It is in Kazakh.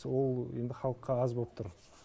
ол енді халыққа аз болып тұр